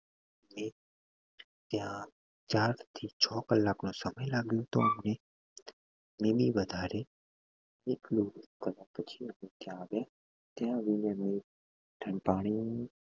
અમે ત્યાં ચાર થી છ કલાક નો સમય લાગ્યો હતો અમને નહિ નહી વધારે ત્યાં ઠંડુ પાણી